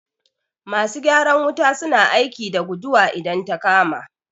Masu gyaran wuta su na aiki da guduwa idan ta kama